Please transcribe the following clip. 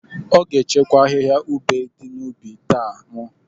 Ọ ga-akwacha ahịhịa ube dị n’ubi taa. M